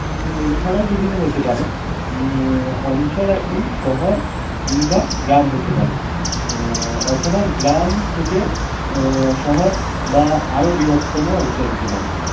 এছাড়াও বিভিন্ন হতে পারে। উহ অঞ্চল একটি শহর কিংবা গ্রাম হতে পারে আহ অথবা গ্রাম থেকে আহ শহর বা আরও বৃহত্তম অঞ্চল হতে পারে।